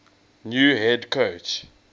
new head coach